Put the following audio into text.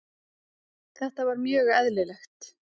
Þetta var mjög eðlilegt.